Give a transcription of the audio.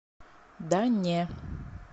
да не